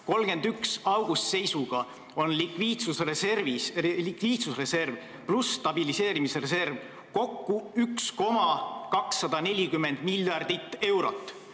31. augusti seisuga on likviidsusreserv ja stabiliseerimisreserv kokku 1,240 miljardit eurot.